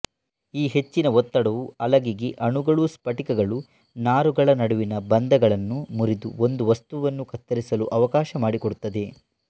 ಈ ಹೆಚ್ಚಿನ ಒತ್ತಡವು ಅಲಗಿಗೆ ಅಣುಗಳುಸ್ಫಟಿಕಗಳುನಾರುಗಳ ನಡುವಿನ ಬಂಧಗಳನ್ನು ಮುರಿದು ಒಂದು ವಸ್ತುವನ್ನು ಕತ್ತರಿಸಲು ಅವಕಾಶ ಮಾಡಿಕೊಡುತ್ತದೆ